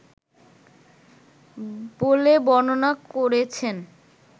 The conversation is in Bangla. বলে বর্ণনা করেছেন